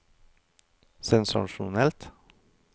sensasjonell